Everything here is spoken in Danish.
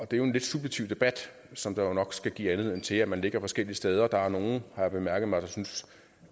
det er jo en lidt subjektiv debat som jo nok skal give anledning til at man ligger forskellige steder der er nogle har jeg bemærket mig der synes